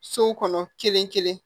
So kɔnɔ kelen kelen